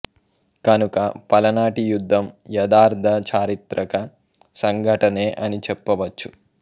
కనుక పలనాటి యుద్ధం యదార్థ చారిత్రక సంఘటనే అని చెప్పవచ్చు